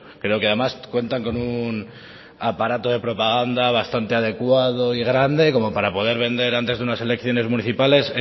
creo que además cuentan con un aparato de propaganda bastante adecuado y grande como para poder vender antes de unas elecciones municipales